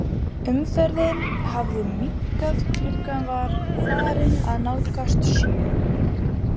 Umferðin hafði minnkað, klukkan var farin að nálgast sjö.